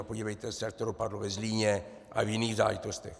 A podívejte se, jak to dopadlo ve Zlíně a v jiných záležitostech.